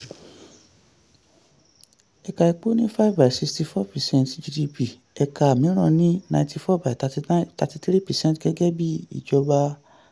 ẹ̀ka epo ní five by sixty four gdp ẹ̀ka mìíràn ní ninety four by thirty nine thirty three precent gẹ́gẹ́ bí ìjọba